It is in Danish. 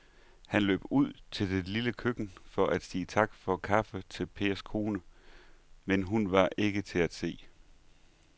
Han løb ud i det lille køkken for at sige tak for kaffe til Pers kone, men hun var ikke til at se.